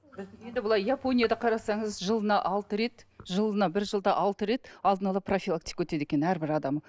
былай японияда қарасаңыз жылына алты рет жылына бір жылда алты рет алдын ала профилактика өтеді екен әрбір адам